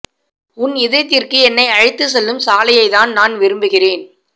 உன் இதயத்திற்கு என்னை அழைத்து செல்லும் சாலையை தான் நான் விரும்புகிறேன்